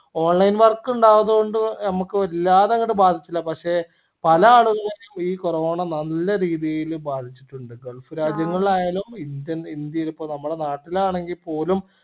onlinework ഉണ്ടാവുന്നതോണ്ട് നമ്മക്ക് വല്ലാതെ അങ്ങട് ബാധിച്ചില്ല പഷേ പല ആളുകളിലും ഈ corona നല്ല രീതിയില് ബാധിച്ചിട്ടിണ്ട് gulf രാജ്യങ്ങളിൽ ആയാലും ഇന്ത്യ ഇന്ത്യൻ ഇപ്പോ നമ്മളെ നാട്ടിലാണെങ്കിൽ പോലും